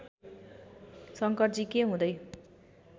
शंकरजी के हुँदै